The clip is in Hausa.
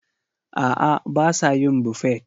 A'a, ba sa yin Buffet.